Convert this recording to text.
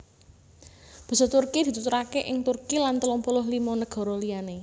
Basa Turki dituturaké ing Turki lan telung puluh limo nagara liyané